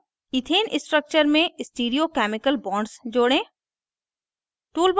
add ethane structure में stereochemical bonds जोड़ें